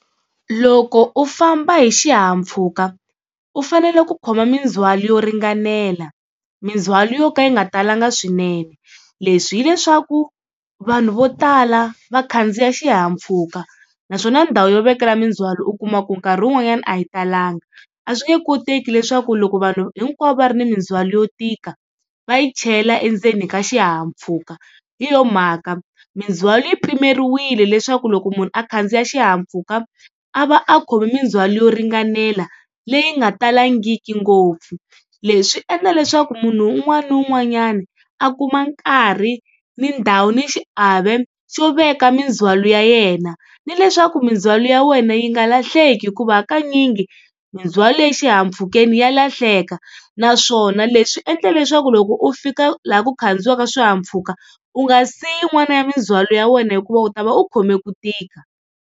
Loko u famba hi xihahampfhuka u fanele ku khoma mindzwalo yo ringanela, mindzhwalo yo ka yi nga talanga swinene. Leswi hileswaku vanhu vo tala va khandziya xihahampfhuka naswona ndhawu yo vekela mindzwalo u kuma ku nkarhi wun'wanyana a yi talanga. A swi nge koteki leswaku loko vanhu hinkwavo va ri na mindzwalo yo tika va yi chela endzeni ka xihahampfhuka, hi yo mhaka mindzwalo yi pimeriwile leswaku loko munhu a khandziya xihahampfhuka a va a khomi mindzhwalo yo ringanela leyi nga talangiki ngopfu. Leswi endla leswaku munhu un'wana na un'wanyana a kuma nkarhi ni ndhawu ni xiave xo veka mindzwalo ya yena, ni leswaku mindzwalo ya wena yi nga lahleki hikuva hakanyingi mindzwalo exihahampfhukeni ya lahleka naswona leswi endla leswaku loko u fika laha ku khandziyiwaka swihahampfhuka u nga siyi yin'wana ya mindzwalo ya wena hikuva u ta va u khome ku tika.